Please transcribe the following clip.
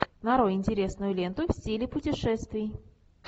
нарой интересную ленту в стиле путешествий